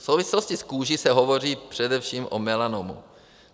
V souvislosti s kůží se hovoří především o melanomu.